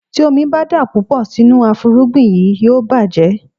Tí omi ń bá dà púpọ̀ sínú afúrúgbìn yí, yóò bàjẹ́.